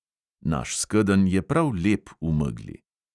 Naš skedenj je prav lep v megli.